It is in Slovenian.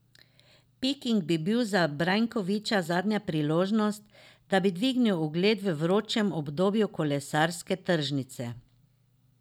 Peking bi bil za Brajkoviča zadnja priložnost, da bi dvignil ugled v vročem obdobju kolesarske tržnice.